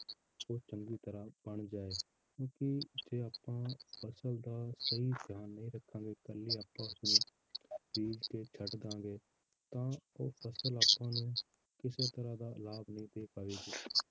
ਉਹ ਚੰਗੀ ਤਰ੍ਹਾਂ ਬਣ ਜਾਏ ਕਿਉਂਕਿ ਜੇ ਆਪਾਂ ਫਸਲ ਦਾ ਸਹੀ ਧਿਆਨ ਨਹੀਂ ਰੱਖਾਂਗੇ ਇਕੱਲੀ ਆਪਾਂ ਉਸਨੂੰ ਬੀਜ ਕੇ ਛੱਡ ਦੇਵਾਂਗੇ ਤਾਂ ਉਹ ਫਸਲ ਆਪਾਂ ਨੂੰ ਕਿਸੇ ਤਰ੍ਹਾਂ ਦਾ ਲਾਭ ਨਹੀਂ ਦੇ ਪਾਵੇਗੀ